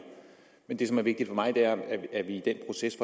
men det som er vigtigt for mig er at vi i den proces